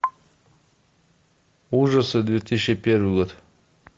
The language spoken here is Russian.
ужасы две тысячи первый год